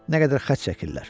Nə qədər xərc çəkirlər.